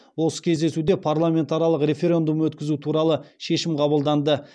осы кездесуде парламентаралық референдум өткізу туралы шешім қабылданды